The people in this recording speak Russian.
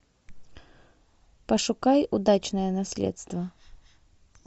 пошукай удачное наследство